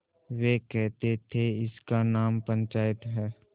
वे कहते थेइसका नाम पंचायत है